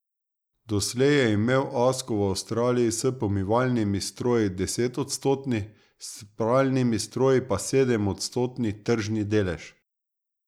Doslej je imel Asko v Avstraliji s pomivalnimi stroji desetodstotni, s pralnimi stroji pa sedemodstotni tržni delež.